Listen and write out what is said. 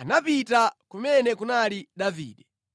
anapita kumene kunali Davide.